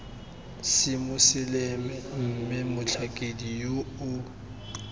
semoseleme mme motlhankedi yoo yo